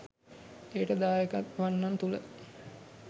එයට දායකවන්නන් තුළ